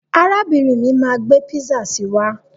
Arábìrin mi máa gbé písà si wá.